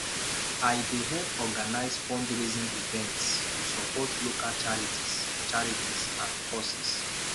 i dey help organize fundraising events to support local charities charities and causes